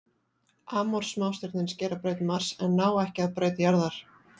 Amor smástirnin skera braut Mars en ná ekki að braut jarðar.